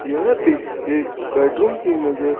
यह पिक एक बेडरूम की नजर--